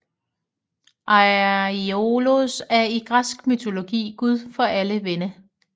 Aiolos er i græsk mytologi gud for alle vinde